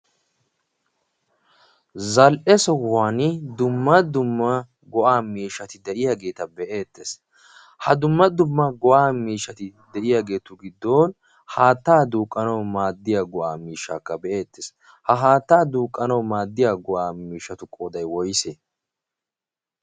Zal"e sohuwan dumma dumma go'aa miishshati de'iyaageta be'eetes. Ha dumma dumma de'iya miishshatu giddon haattaa duuqqanawu maaddiya miishshaaakka be'eettes. Ha haattaa duuqqanawu maaddiya go'aa mishshsatu qooday woyise?